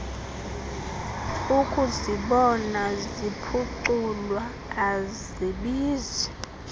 ukuzibona ziphuculwa azibizi